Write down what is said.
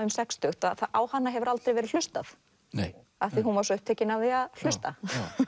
um sextugt að á hana hefur aldrei verið hlustað af því hún var svo upptekin af því að hlusta